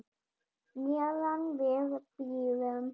Meðan við bíðum.